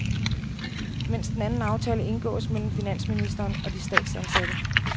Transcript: Mens den anden aftale indgås mellem finansministeren og de statsansatte.